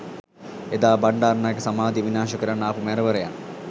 එදා බණ්‌ඩාරනායක සමාධිය විනාශ කරන්න ආපු මැරවරයන්